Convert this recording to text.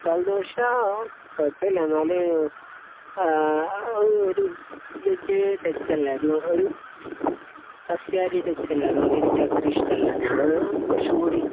മസാലദോശ കുഴപ്പമില്ല.എന്നാലും അഹ് ഒരു veg touch അല്ലെ? ഒരു സസ്യാഹാരി ടച്ച് അല്ലെ? അതുകൊണ്ട് എനിക്ക് അത്ര ഇഷ്ടമല്ല. ഞാൻ കുറച്ചുംകൂടി